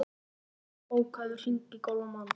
Varða, bókaðu hring í golf á mánudaginn.